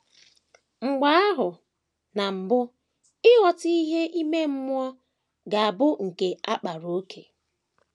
Mgbe ahụ, na mbụ, ịghọta ìhè ime mmụọ ga - abụ nke a kpaara ókè.